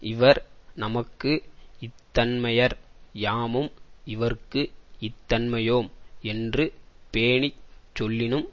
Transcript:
இவர் நமக்கு இத்தன்மையர் யாமும் இவர்க்கு இத்தன்மையோம் என்று பேணிச் சொல்லினும்